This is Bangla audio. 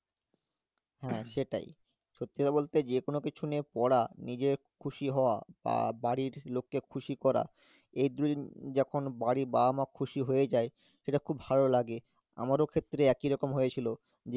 হ্যাঁ, সেটাই সত্যি কথা বলতে যে কোন কিছু নিয়ে পড়া, নিজে খুশি হওয়া আহ বাড়ির লোককে খুশি করা, এই দু~ যখন বাড়ির বাবা-মা খুশি হয়ে যায় সেটা খুব ভালো লাগে আমারও ক্ষেত্রে একই রকম হয়েছিল